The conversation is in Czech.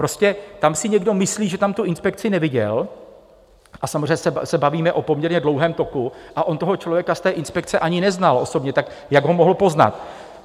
Prostě tam si někdo myslí, že tam tu inspekci neviděl, a samozřejmě se bavíme o poměrně dlouhém toku a on toho člověka z té inspekce ani neznal osobně, tak jak ho mohl poznat?